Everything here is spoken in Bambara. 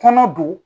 Kɔnɔ don